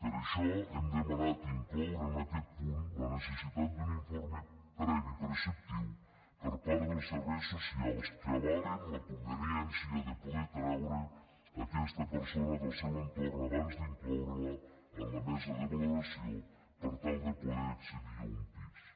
per això hem demanat incloure en aquest punt la necessitat d’un informe previ i preceptiu per part dels serveis socials que avalin la conveniència de poder treure aquesta persona del seu entorn abans d’incloure la en la mesa de valoració per tal de poder accedir a un pis